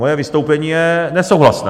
Moje vystoupení je nesouhlasné.